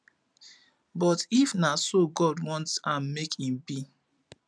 but if na so god want am make im be